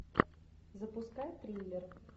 запускай триллер